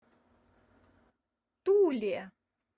туле